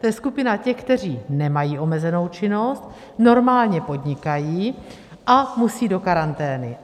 To je skupina těch, kteří nemají omezenou činnost, normálně podnikají a musejí do karantény.